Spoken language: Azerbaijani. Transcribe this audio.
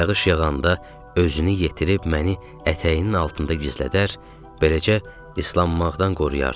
Yağış yağanda özünü yetirib məni ətəyinin altında gizlədər, beləcə islanmaqdan qoruyardı.